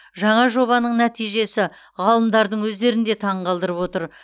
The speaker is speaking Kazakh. жаңа жобаның нәтижесі ғалымдардың өздерін де таңғалдырып отыр